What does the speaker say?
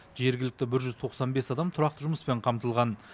жергілікті бір жүз тоқсан бес адам тұрақты жұмыспен қамтылған